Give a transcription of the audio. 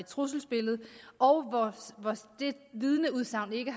trusselsbillede hvor vidneudsagnet ikke